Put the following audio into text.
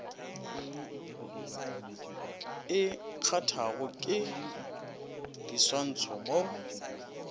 e kgathwago ke diswantšho mo